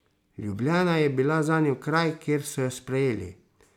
Ljubljana je bila zanjo kraj, kjer so jo sprejeli.